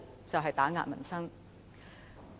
就是打壓民生。